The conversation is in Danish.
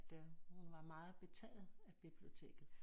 Da hun var meget betaget af biblioteket